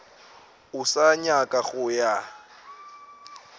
o sa nyaka go ya